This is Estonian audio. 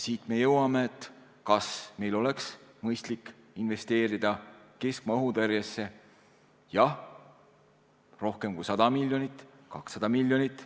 Siit me jõuame selleni, kas meil oleks mõistlik investeerida keskmaa õhutõrjesse, jah, rohkem kui 100 miljonit, 200 miljonit.